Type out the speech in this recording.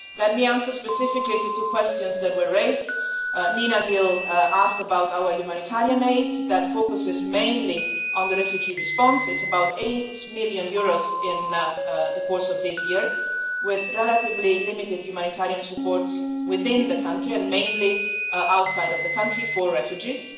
Let me answer specifically two questions that were raised. Nina Gill asked about our humanitarian aid, focusing mainly on the refugee response. It has amounted to about EUR 8 million in the course of this year, with relatively limited humanitarian support within Burundi and the major effort outside the country, for refugees.